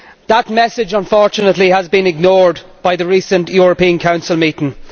That message, unfortunately, has been ignored by the recent European Council meeting.